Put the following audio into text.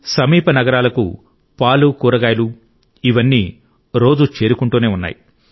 సమీప నగరాలకు పాలు కూరగాయలు ఇవన్నీ రోజూ చేరుకుంటూనే ఉన్నాయి